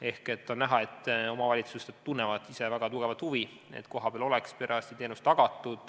Ehk on näha, et omavalitsused tunnevad ise väga suurt huvi, et kohapeal oleks parajasti teenus tagatud.